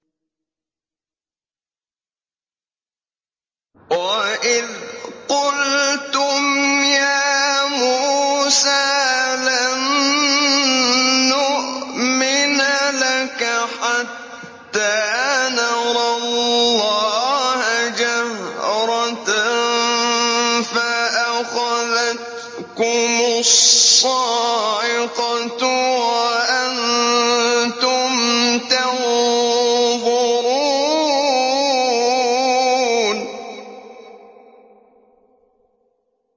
وَإِذْ قُلْتُمْ يَا مُوسَىٰ لَن نُّؤْمِنَ لَكَ حَتَّىٰ نَرَى اللَّهَ جَهْرَةً فَأَخَذَتْكُمُ الصَّاعِقَةُ وَأَنتُمْ تَنظُرُونَ